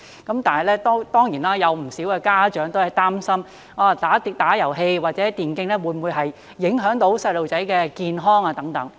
但是，當然有不少家長擔心打遊戲機或電競會否影響小朋友的健康等。